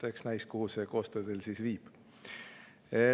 Eks näis, kuhu see koostöö teid siis viib.